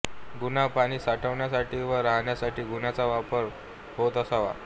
गुहा पाणी साठवण्यासाठी वा राहण्यासाठी गुहांचा वापर होत असावा